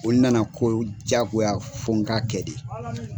Olu nana ko jagoya fɔ n k'a kɛ de.